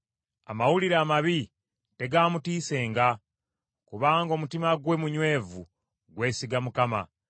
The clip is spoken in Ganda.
Amawulire amabi tegaamutiisenga, kubanga omutima gwe munywevu gwesiga Mukama .